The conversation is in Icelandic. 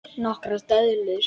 Nokkrar döðlur